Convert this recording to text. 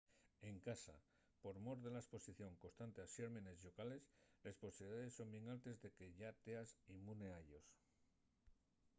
en casa por mor de la esposición constante a xérmenes llocales les posibilidaes son bien altes de que yá teas inmune a ellos